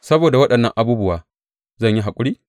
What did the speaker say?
Saboda waɗannan abubuwa, zan yi haƙuri?